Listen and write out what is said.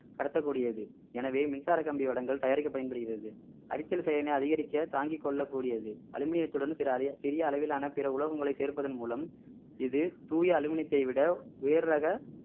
கடத்தக் கூடியது எனவே மின்சார கம்பி வடங்கள் தயாரிக்க பயன்படுகிறது அரித்தல் செயலினை அதிகரிக்க தாங்கிக் கொள்ளக் கூடியது அலுமினியத்துடன் சில அறி~ சிறிய அளவிலான பிற உலோகங்களை சேர்ப்பதன் மூலம் இது தூய அலுமினியத்தை விட உயர் ரக